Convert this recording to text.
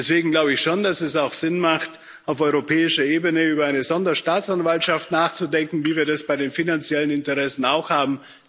Deswegen glaube ich schon, dass es auch Sinn macht, auf europäischer Ebene über eine Sonderstaatsanwaltschaft nachzudenken, wie wir das bei den finanziellen Interessen auch haben.